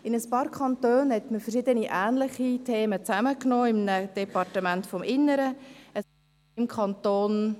In einigen Kantonen hat man verschiedene ähnliche Themen in einem Departement des Innern zusammengefasst …